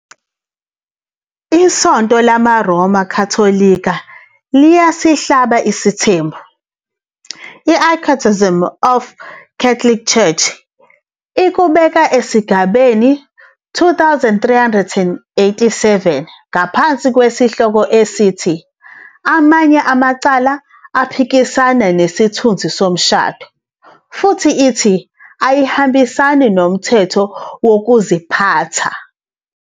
ISonto LamaRoma Katolika liyasilahla isithembu, "iCatechism of the Catholic Church" ikubeka esigabeni 2387 ngaphansi kwesihloko esithi "Amanye amacala aphikisana nesithunzi somshado" futhi ithi "ayihambisani nomthetho wokuziphatha."